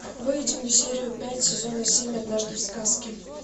выведи мне серию пять сезона семь однажды в сказке